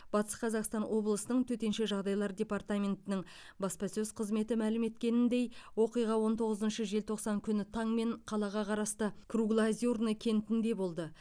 батыс қазақстан облысының төтенше жағдайлар департаментінің баспасөз қызметі мәлім еткеніндей оқиға он тоғызыншы желтоқсан күні таңмен қалаға қарасты круглоозерный кентінде болды